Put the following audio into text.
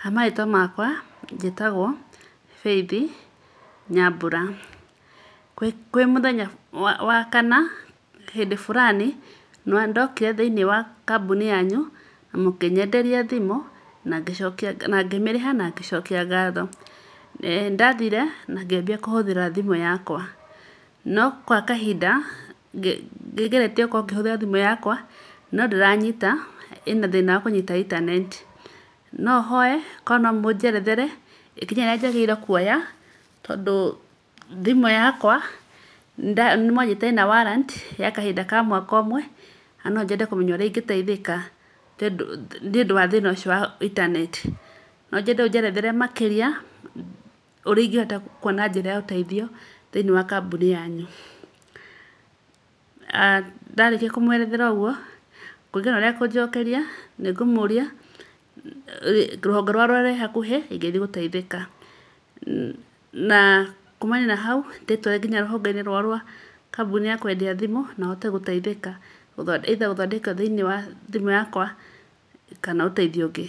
Ha marĩtwa makwa njĩtagwo Faith Nyambura, kwĩ mũthenya wa kana, hĩndĩ fulani, nĩndokire thĩiniĩ wa kambuni yanyu, na mũkĩnyenderia thimũ, na ngĩmĩrĩha na ngĩcokia ngatho. Nĩ ndathire na ngĩambia kũhũthĩra thimũ yakwa. No gwa kahinda ngĩgeretie kũhũthĩra thimũ yakwa, no ndĩranyita, ĩna thĩna wa kũnyita intaneti. No hoye, okorwo nomũnjerethere, ikinya rĩrĩa njagĩrĩire kuoya, tondũ thimũ yakwa nĩmwanjirĩte ĩna warrant, ya kahinda ka mwaka ũmwe, na no nyende kũmenya ũrĩa ingĩteithĩka. Tondũ, nĩũndũ wa thĩna ũcio wa intaneti. No nyende ũnjerethere makĩria, ũrĩa ingĩhota kwona njĩra ya ũteithio, thĩiniĩ wa kambuni yanyu. Ndarĩkia kũmwerethera ũguo, kũringa na ũrĩa ekũnjokeria, nĩngũmũria rũhonge rũrĩa rũrĩ hakuhĩ, ĩngĩthiĩ gũteithĩka. Na kuumania na hau, ndĩtware rũhonge-inĩ rwa kambuni ya kwendia thimũ, na hote gũteithĩka. Either gũthondekerwo thĩiniĩ wa thimũ yakwa, kana ũteithio ũngĩ.